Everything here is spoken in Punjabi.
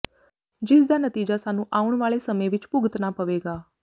ਜਿਸ ਦਾ ਨਤੀਜਾ ਸਾਨੂੰ ਆਉਣ ਵਾਲੇ ਸਮੇਂ ਵਿਚ ਭੁਗਤਨਾ ਪਵੇਗਾ